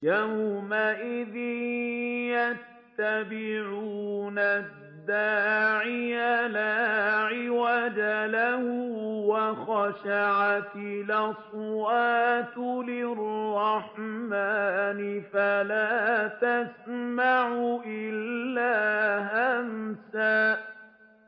يَوْمَئِذٍ يَتَّبِعُونَ الدَّاعِيَ لَا عِوَجَ لَهُ ۖ وَخَشَعَتِ الْأَصْوَاتُ لِلرَّحْمَٰنِ فَلَا تَسْمَعُ إِلَّا هَمْسًا